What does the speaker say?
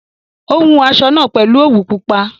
Ó hun aṣọ náà pèlú òwú pupa